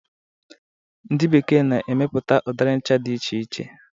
Ndi bekee na-emepụta udiri ncha dị iche iche.